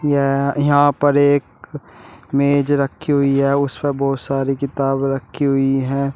यह यहां पर एक मेज रखी हुई है उस पर बहोत सारी किताब रखी हुई है।